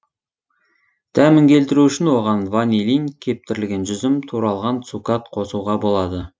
дәмін келтіру үшін оған ванилин кептірілген жүзім туралған цукат қосуға болады